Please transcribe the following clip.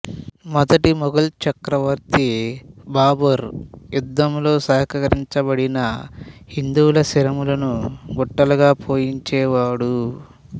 మొదటి మొఘల్ చక్రవర్తి బాబర్ యుద్ధములలో సంహరించబడిన హిందువుల శిరములను గుట్టలుగా పోయించేవాడు